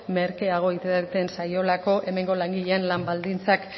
merkeago irteten zaiolako hemengo langileen lan baldintzak